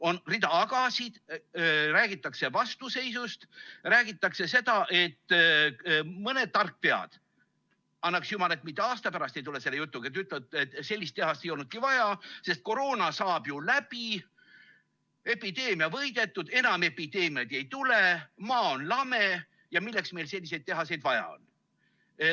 On rida agasid, räägitakse vastuseisust, räägitakse seda, et mõned tarkpead – annaks jumal, et nad mitte aasta pärast ei tule selle jutuga – ütlevad, et sellist tehast ei olnudki vaja, sest koroona saab ju läbi, epideemia võidetakse, enam epideemiaid ei tule, maa on lame ja milleks meile selliseid tehaseid vaja on.